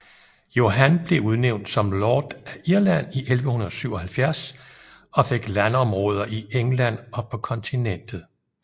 Johan blev udnævn som lord af Irland i 1177 og fik landområder i England og på kontinentet